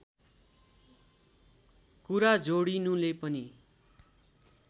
कुरा जोडिनुले पनि